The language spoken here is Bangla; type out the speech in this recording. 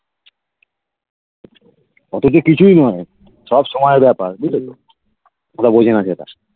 অতকিচুই নয় সব সময়ের ব্যাপার ঠিকাছে কথা বুঝলি যেটা